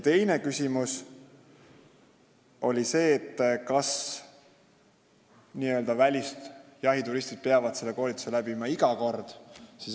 Teine küsimus oli see, kas n-ö välisjahituristid peavad selle koolituse läbima iga kord.